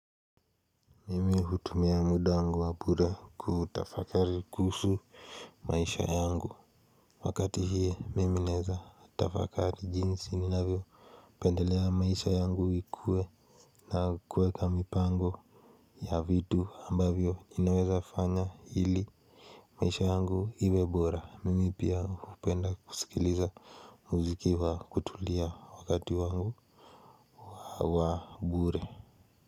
Mimi hutumia muda wangu wa bura kutafakari kuhusu maisha yangu wakati hii mimi naeza tafakari jinsi ninavyo pendelea maisha yangu ikue na kweka mipango ya vitu ambavyo inaweza fanya hili maisha yangu iwe bora mimi pia hupenda kusikiliza muziki wa kutulia wakati wangu wa bure.